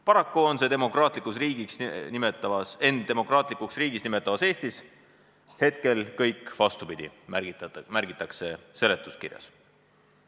Paraku on ennast demokraatlikuks riigiks nimetavas Eestis see kõik hetkel vastupidi, märgitakse seletuskirjas.